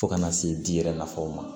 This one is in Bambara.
Fo ka n'a se di yɛrɛ nafaw ma